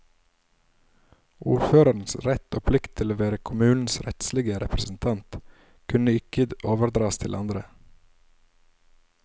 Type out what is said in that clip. Ordførerens rett og plikt til å være kommunens rettslige representant kunne ikke overdras til andre.